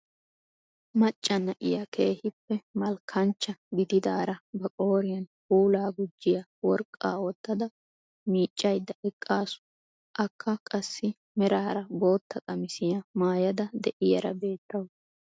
Macca na'iyaa keehippe malkaanchcha gididaara ba qooriyaan puulaa gujjiyaa worqqaa woottada miiccayda eqqasu. akka qassi meraara bootta qamisiyaa maayada de'iyaara beettawus.